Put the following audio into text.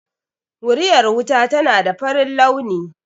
Wuriyar wuta tana da farin launi